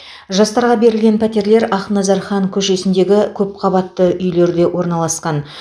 жастарға берілген пәтерлер ақназар хан көшесіндегі көпқабатты үйлерде орналасқан